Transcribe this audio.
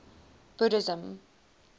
buddhism